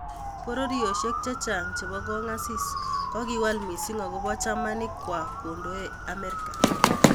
Pororiosiek chechang chebo kongasis kokiwal missing akobet chamanik kwai kondoe Amerika